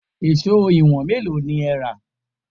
Èṣó ìwọ̀n mélòó ni ẹ rà?